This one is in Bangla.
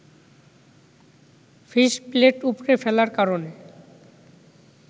ফিস-প্লেট উপড়ে ফেলার কারণে